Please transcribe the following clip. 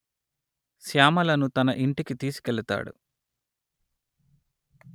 శ్యామలను తన ఇంటికి తీసుకెళతాడు